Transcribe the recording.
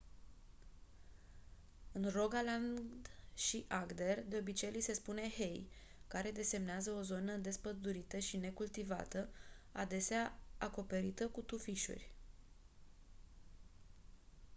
în rogaland și agder de obicei li se spune hei care desemnează o zonă despădurită și necultivată adesea acoperită cu tufișuri